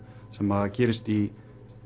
sem gerist í